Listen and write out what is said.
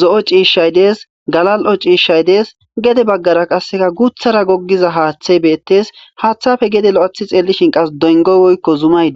zo'o ciishshay dees galal'o ciishshay dees gede baggara qasseka guthara goggiza haaththey beettes haaththafe gede lo'athi xeellishin qas dongoy woykko zumayde.